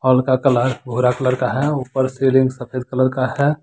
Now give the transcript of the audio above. Wall का colour भूरा colour का है ऊपर सीलिंग सफेद कलर का है।